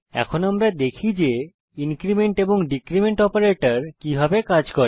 এখন আমরা দেখি যে ইনক্রীমেন্ট এবং ডীক্রীমেন্ট অপারেটরের কিভাবে কাজ করে